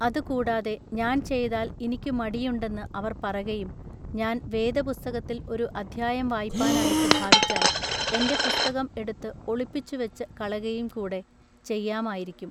അതു കൂടാതെ ഞാൻ ചെയ്താൽ ഇനിക്കു മടിയുണ്ടെന്നു അവർ പറകയും ഞാൻ വേദപുസ്തകത്തിൽ ഒരു അദ്ധ്യായം വായിപ്പാനായിട്ടു ഭാവിച്ചാൽ എന്റെ പുസ്തകം എടുത്തു ഒളിച്ചുവച്ചു കളകയുംകൂടെ ചെയ്യാമായിരിക്കും.